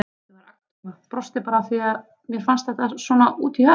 Ég var agndofa, brosti bara af því að mér fannst þetta svo út í hött.